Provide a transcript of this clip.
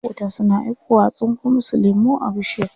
Maƙota suna aikowa a tsinko musu lemu a bishiya.